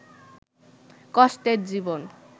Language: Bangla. কষ্টের জীবন